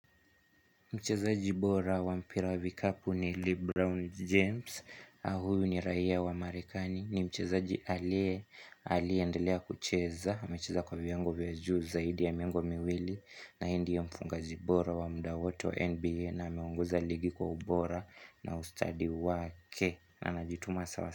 Mchezaji bora wa mpira wa vikapu ni LeBron James, huyu ni raia wa Marekani, ni mchezaji alie, aliye endelea kucheza, amecheza kwa viwango vya juu zaidi ya miongo miwili na yeye ndiye mfungaji bora wa muda wote wa NBA na ameongoza ligi kwa ubora na ustadi wake na anajituma sawa.